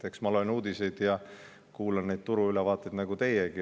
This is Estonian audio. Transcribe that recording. Eks ma loen uudiseid ja kuulan neid turuülevaateid nagu teiegi.